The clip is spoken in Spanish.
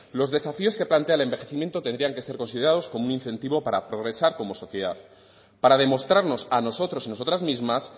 los desafíos que plantea el envejecimiento tendrían que ser considerados como un incentivo para progresar como sociedad para demostrarnos a nosotros y nosotras mismas